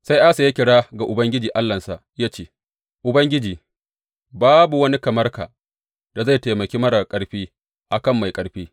Sai Asa ya kira ga Ubangiji Allahnsa ya ce, Ubangiji, babu wani kamar ka da zai taimaki marar ƙarfi a kan mai ƙarfi.